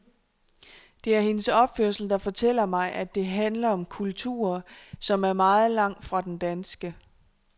Det er hendes opførsel, der fortæller mig, at det handler om kulturer, som er meget langt fra den danske.